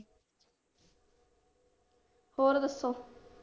ਹੋਰ ਦੱਸੋ।